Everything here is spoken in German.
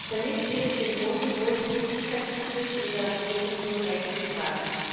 Damit wird dem hohen Niveau des Gesundheitsschutzes in der Europäischen Union Rechnung getragen.